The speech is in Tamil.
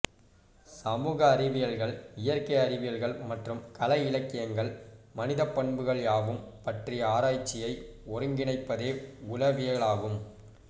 சமூக அறிவியல்கள் இயற்கை அறிவியல்கள் மற்றும் கலை இலக்கியங்கள் மனிதப்பண்புகள் யாவும் பற்றிய ஆராய்ச்சியை ஒருங்கிணைப்பதே உள வியலாகும்